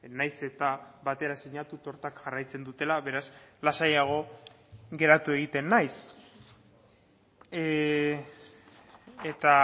nahiz eta batera sinatu tortak jarraitzen dutela beraz lasaiago geratu egiten naiz eta